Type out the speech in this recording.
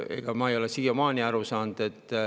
Ega ma ei ole siiamaani aru saanud.